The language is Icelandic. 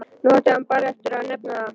Nú átti hann bara eftir að nefna það.